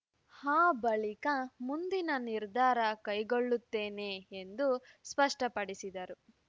ಆ ಬಳಿಕ ಮುಂದಿನ ನಿರ್ಧಾರ ಕೈಗೊಳ್ಳುತ್ತೇನೆ ಎಂದು ಸ್ಪಷ್ಟಪಡಿಸಿದರು